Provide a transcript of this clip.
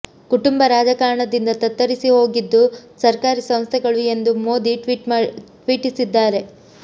ಕುಟುಂಬ ರಾಜಕಾರಣದಿಂದ ತತ್ತರಿಸಿ ಹೋಗಿದ್ದು ಸರ್ಕಾರಿ ಸಂಸ್ಥೆಗಳು ಎಂದು ಮೋದಿ ಟ್ವೀಟಿಸಿದ್ದಾರೆ